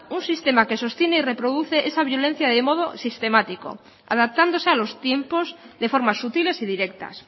un sistema que sostiene y reproduce esa violencia de modo sistemático adaptándose a los tiempos de formas sutiles y directas